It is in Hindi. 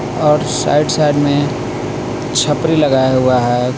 और साइड साइड में छपरी लगाया हुआ है.